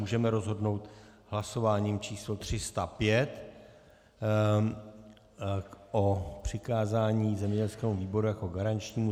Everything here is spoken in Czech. Můžeme rozhodnout hlasováním číslo 305 o přikázání zemědělskému výboru jako garančnímu.